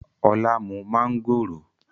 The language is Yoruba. Ọlá mú mángòrò